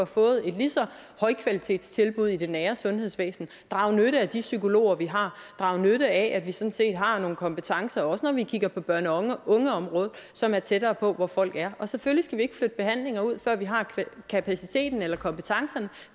fået et lige så højkvalitetstilbud i det nære sundhedsvæsen og draget nytte af de psykologer vi har og draget nytte af at vi sådan set har nogle kompetencer også når vi kigger på børne og ungeområdet som er tættere på hvor folk er vi selvfølgelig ikke flytte behandlinger ud før vi har kapaciteten eller kompetencerne